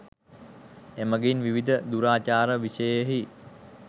එමඟින් විවිධ දුරාචාර විෂයෙහි